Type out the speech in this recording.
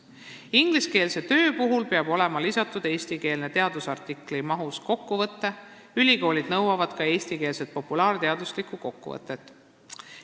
Ingliskeelsele tööle peab olema lisatud eestikeelne teadusartikli mahus kokkuvõte, ülikoolid nõuavad ka eestikeelset populaarteaduslikku kokkuvõtet.